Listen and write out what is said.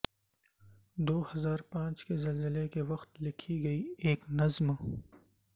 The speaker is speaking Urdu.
دوہزار پانچ کے زلزلے کے وقت لکھی گئی ایک نظم